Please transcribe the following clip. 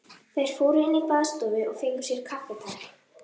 Þær fóru inn í baðstofu og fengu sér kaffitár.